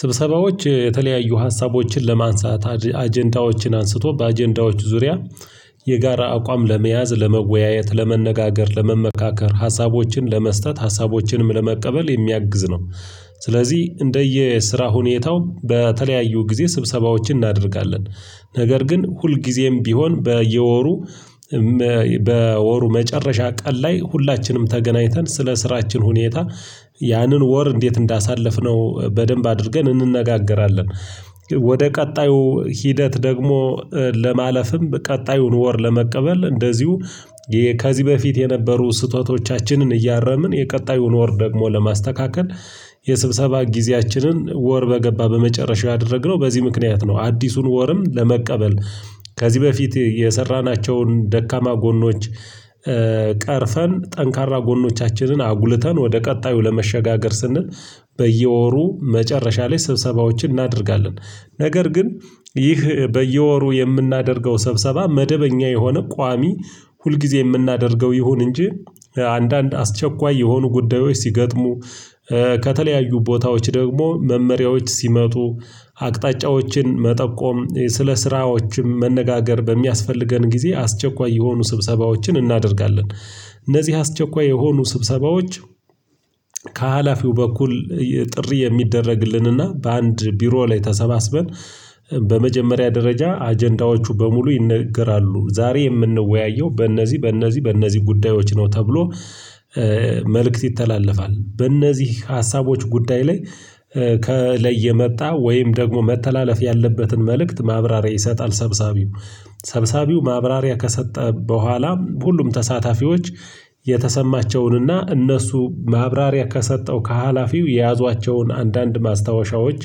ስብሰባዎች የተለያዩ ሀሳቦችን ለማንሳት አጀንዳዎችን አንስቶ በአጀንዳዎች ዙሪያ የጋራ አቋም ለመያዝ ለመወያየት ለመነጋገር ለመመካከር ሀሳቦችን ለመስጠት ሀሳቦችንም ለመቀበል የሚያግዝ ነው። ስለዚህ እንደየ ስራ ሁኔታው በተለያዩ ጊዜ ስብሰባዎችን እናደርጋለን ነገር ግን ሁልጊዜም ቢሆን በየወሩ በወሩ መጨረሻ ቀን ላይ ሁላችንም ተገናኝተን ስለ ስራችን ሁኔታ ያንን ወር እንዴት እንዳሳለፍነው በደንብ አድርገን እንነጋገራለን። ወደ ቀጣዩ ሂደት ደግሞ ለማለፍም ቀጣዩን ወር ለመቀበል እንደዚሁ ከዚህ በፊት የነበሩ ስህተቶቻችንን እያረምን የቀጣዩን ወር ደግሞ ለማስተካከል። የስብሰባ ጊዜያችንን ወር በገባ በመጨረሻው ያደረግነው በዚህ ምክንያት ነው። አዲሱን ወርም ለመቀበል ከዚህ በፊት የሰራናቸውን ደካማ ጎኖች። ቀርፈን ጠንካራ ጎኖቻችንን አጉልተን ወደ ቀጣዩ ለመሸጋገር ስንል በየወሩ መጨረሻ ላይ ስብሰባዎችን እናደርጋለን። ነገር ግን ይህ በየወሩ የምናደርገው ስብሰባ መደበኛ የሆነ ቋሚ ሁልጊዜ የምናደርገው ይሁን እንጂ አንዳንድ አስቸኳይ የሆኑ ጉዳዮች ሲገጥሙ ከተለያዩ ቦታዎች ደግሞ መመሪያዎች ሲመጡ አቅጣጫዎችን መጠቆም ስለ ስራዎችም መነጋገር በሚያስፈልገን ጊዜ አስቸኳይ የሆኑ ስብሰባዎችን እናደርጋለን። እነዚህ አስቸኳይ የሆኑ ስብሰባዎች ከሀላፊው በኩል ጥሪ የሚደረግልንና በአንድ ቢሮ ላይ ተሰባስበን በመጀመሪያ ደረጃ አጀንዳዎቹ በሙሉ ይነገራሉ ዛሬ የምንወያየው በእነዚህ በእነዚህ በእነዚህ ጉዳዮች ነው። ተብሎ መልእክት ይተላለፋል በእነዚህ ሀሳቦች ጉዳይ ላይ ከላየ የመጣ ወይም ደግሞ መተላለፍ ያለበትን መልእክት ማብራሪያ ይሰጣል። ሰብሳቢው ሰብሳቢው ማብራሪያ ከሰጠ በኋላ ሁሉም ተሳታፊዎች የተሰማቸውንና እነሱ ማብራሪያ ከሰጠው ከሀላፊው የያዟቸውን አንዳንድ ማስታወሻዎች።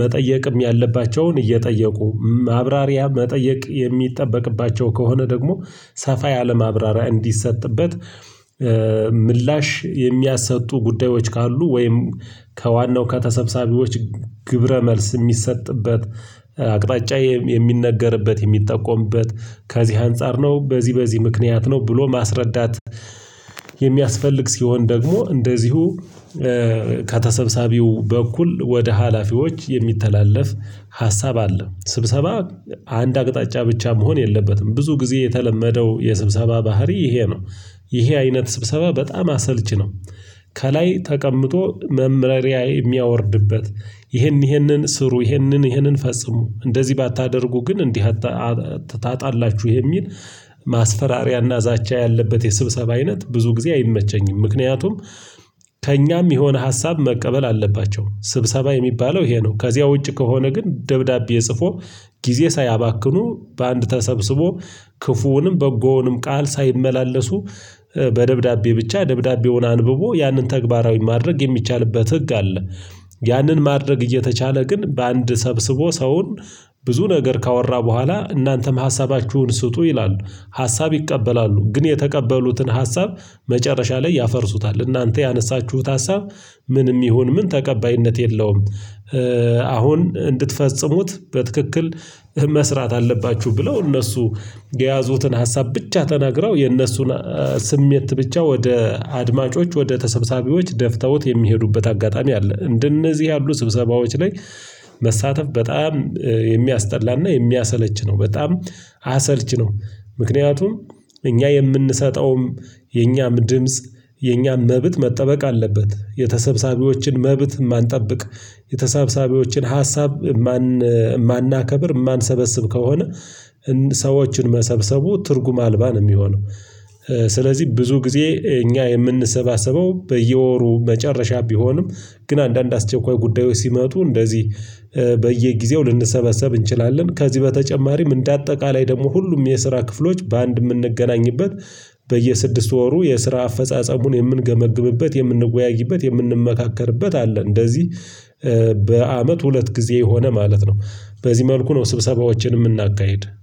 መጠየቅም ያለባቸውን እየጠየቁ ማብራሪያ መጠየቅ የሚጠበቅባቸው ከሆነ ደግሞ ሰፋ ያለ ማብራሪያ እንዲሰጥበት። ምላሽ የሚያሰጡ ጉዳዮች ካሉ ወይም ከዋናው ከተሰባሳቢዎች ግብረ መልስ የሚሰጥበት አቅጣጫ የሚነገርበት የሚጠቆምበት ከዚህ አንፃር ነው። በዚህ በዚህ ምክንያት ነው ብሎ ማስረዳት የሚያስፈልግ ሲሆን ደግሞ እንደዚሁ ከተሰብሰቢው በኩል ወደ ሀላፊዎች የሚተላለፍ ሀሳብ አለ። ስብሰባ አንድ አቅጣጫ ብቻ መሆን የለበትም ብዙ ጊዜ የተለመደው የስብሰባ ባህሪ ይሄ ነው። ይሄ አይነት ስብሰባ በጣም አሰልቺ ነው። ከላይ ተቀምጦ መመሪያ የሚያወርድበት ይህን ይህንን ስሩ ይህንን ይህንን ፈጽሙ እንደዚህ ባታደርጉ ግን እንዲህ ታጣላችሁ የሚል ማስፈራሪያና ዛቻ ያለበት የስብሰባ አይነት ብዙ ጊዜ አይመቸኝም። ምክንያቱም ከእኛም የሆነ ሀሳብ መቀበል አለባቸው ስብሰባ የሚባለው ይሄ ነው። ከዚያ ውጭ ከሆነ ግን ደብዳቤ ጽፎ ጊዜ ሳያባክኑ በአንድ ተሰብስቦ ክፉውንም በጎውንም ቃል ሳይመላለሱ በደብዳቤ ብቻ ደብዳቤውን አንብቦ ያንን ተግባራዊ ማድረግ የሚቻልበት ህግ አለ። ያንን ማድረግ እየተቻለ ግን በአንድ ሰብስቦ ሰውን ብዙ ነገር ካወራ በኋላ እናንተም ሀሳባችሁን ስጡ ይላሉ ሀሳብ ይቀበላሉ ግን የተቀበሉትን ሀሳብ መጨረሻ ላይ ያፈርሱታል እናንተ ያነሳችሁት ሀሳብ ምንም ይሁን ምን ተቀባይነት የለውም። አሁን እንድትፈጽሙት በትክክል መስራት አለባችሁ ብለው እነሱ የያዙትን ሀሳብ ብቻ ተናግረው የእነሱን ስሜት ብቻ ወደ አድማጮች ወደ ተሰብሰቢዎች ደፍተውት የሚሄዱበት አጋጣሚ አለ። እንደነዚህ ያሉ ስብሰባዎች ላይ መሳተፍ በጣም የሚያስጠላና የሚያሰለች ነው በጣም አሰልች ነው። ምክንያቱም እኛ የምንሰጠውም የኛም ድምጽ የኛም መብት መጠበቅ አለበት። የተሰብሰቢዎችን መብት የማንጠብቅ የተሳብሳቢዎችን ሀሳብ የማናከብር የማንሰበስብ ከሆነ ሰዎችን መሰብሰቡ ትርጉም አልባ ነው የሚሆነው። ስለዚህ ብዙ ጊዜ እኛ የምንሰባሰበው በየወሩ መጨረሻ ቢሆንም ግን አንዳንድ አስቸኳይ ጉዳዮች ሲመጡ እንደዚህ በየጊዜው ልንሰበሰብ እንችላለን። ከዚህ በተጨማሪም እንደ አጠቃላይ ደግሞ ሁሉም የስራ ክፍሎች በአንድ የምንገናኝበት በየስድስት ወሩ የስራ አፈጻጸሙን የምንገመግምበት የምንወያይበት የምንመካከርበት አለ። እንደዚህ በአመት ሁለት ጊዜ የሆነ ማለት ነው። በዚህ መልኩ ነው ስብሰባዎችን የምናካሂድ